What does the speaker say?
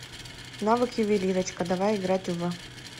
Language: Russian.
навык ювелирочка давай играть в